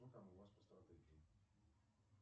что там у вас по стратегии